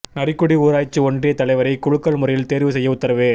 நரிக்குடி ஊராட்சி ஒன்றியத் தலைவரை குலுக்கல் முறையில் தோ்வு செய்ய உத்தரவு